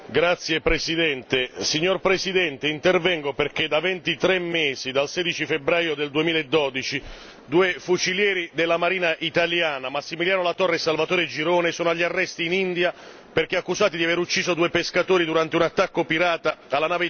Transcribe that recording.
Signor Presidente, intervengo perché da ventitré mesi, dal 16 febbraio 2012, due fucilieri della Marina italiana, Massimiliano Latorre e Salvatore Girone, sono agli arresti in India perché accusati di aver ucciso due pescatori durante un attacco pirata alla nave italiana Enrica Lexie.